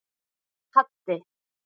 Haddi